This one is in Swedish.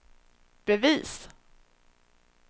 bevis